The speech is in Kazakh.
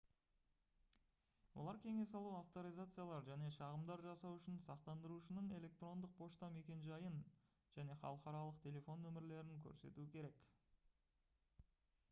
олар кеңес алу/авторизациялар және шағымдар жасау үшін сақтандырушының электрондық пошта мекенжайын және халықаралық телефон нөмірлерін көрсетуі керек